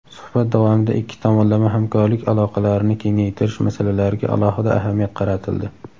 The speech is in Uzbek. Suhbat davomida ikki tomonlama hamkorlik aloqalarini kengaytirish masalalariga alohida ahamiyat qaratildi.